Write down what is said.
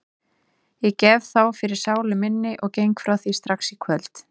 Ég gef þá fyrir sálu minni og geng frá því strax í kvöld.